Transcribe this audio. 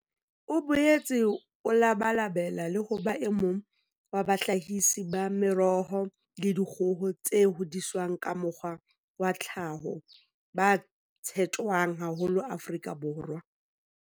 O boetse o labalabela le ho ba emong wa bahlahisi ba meroho le dikgoho tse hodiswang ka mokgwa wa tlhaho ba tshetjwang haholo Afrika Borwa.